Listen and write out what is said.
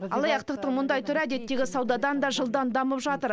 алаяқтықтың мұндай түрі әдеттегі саудадан да жылдам дамып жатыр